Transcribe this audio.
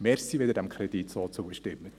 Danke, wenn Sie diesem Kredit so zustimmen.